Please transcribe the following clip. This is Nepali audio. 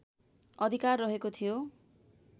अधिकार रहेको थियो